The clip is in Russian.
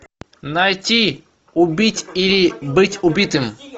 найти убить или быть убитым